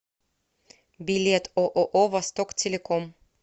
билет ооо востоктелеком